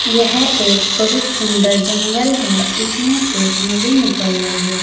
यह एक बहुत सुंदर है जंगल है इसमें एक नदी निकल रही है।